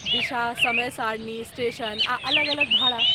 दिशा, समय सारणी, स्टेशन, आ अलग अलग भाड़ा।